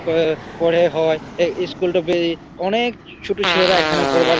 ক-অ পরে হয় এই ইস্কুল -টো তে অনে-এ-ক ছোট ছেলেরা এখানে পড়বার--